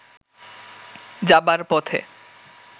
যাবার পথে